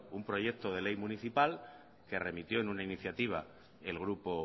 un proyecto de ley municipal que remitió en una iniciativa el grupo